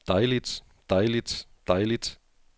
dejligt dejligt dejligt